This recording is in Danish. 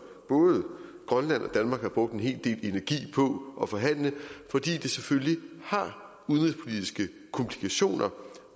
både grønland og danmark har brugt en hel del energi på at forhandle fordi det selvfølgelig har udenrigspolitiske komplikationer